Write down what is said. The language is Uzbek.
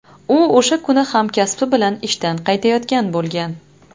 U o‘sha kuni hamkasbi bilan ishdan qaytayotgan bo‘lgan.